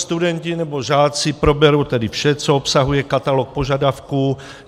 Studenti nebo žáci proberou tedy vše, co obsahuje katalog požadavků.